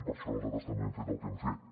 per això nosaltres també hem fet el que hem fet